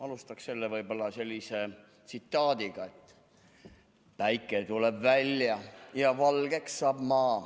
Alustaksin võib-olla sellise tsitaadiga: "Päike tuleb välja ja valgeks saab maa.